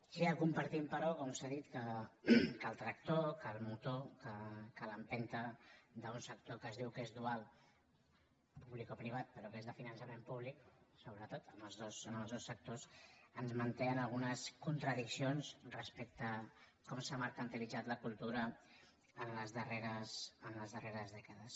sí que compartim però com s’ha dit que el tractor que el motor que l’empenta d’un sector que es diu que és dual publicoprivat però que és de finançament públic sobretot en els dos sectors ens manté en algunes contradiccions respecte a com s’ha mercantilitzat la cultura en les darreres dècades